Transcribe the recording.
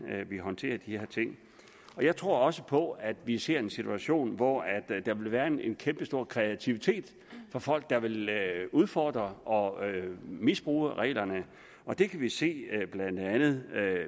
vi håndterer de her ting jeg tror også på at vi ser en situation hvor der vil være en en kæmpestor kreativitet fra folk der vil udfordre og misbruge reglerne det kan vi se blandt andet